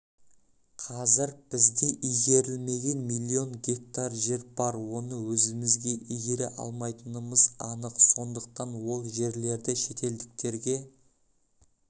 қазір бізде игерілмеген млн гектар жер бар оны өзіміз игере алмайтынымыз анық сондықтан ол жерлерді шетелдіктерге